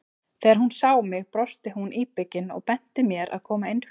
Þegar hún sá mig brosti hún íbyggin og benti mér að koma inn fyrir.